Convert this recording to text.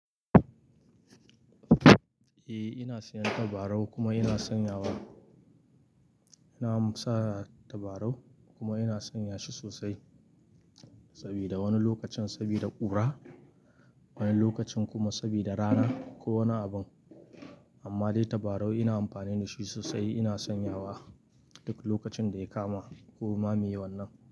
Eh ina sayan tabarau, kuma ina sanyawa. Ina sa tabarau, kuma ina sanya shi sosai sabida wani lokacin sabida ƙura, wani lokacin kuma sabida rana, ko wani abin. Amma dai tabarau ina amfani da shi sosai, ina sanyawa, duk lokacin da ya kama ko ma miye wannan.